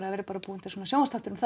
það verði bara búinn til sjónvarpsþáttur um